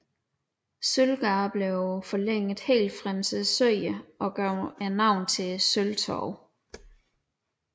Sølvgade blev forlænget helt frem til Søerne og gav navn til Sølvtorvet